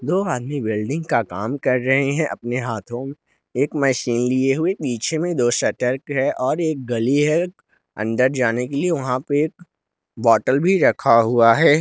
दो आदमी वेल्डिंग का काम कर रहे हैं अपने हाथों एक मशीन लिए हुए नीचे में दो शटर है और एक गली है अंदर जाने के लिए वहां पे बॉटल भी रखा हुआ है।